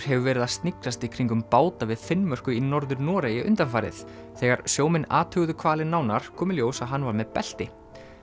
hefur verið að sniglast í kringum báta við Finnmörku í Norður Noregi undanfarið þegar sjómenn athuguðu hvalinn nánar kom í ljós að hann var með belti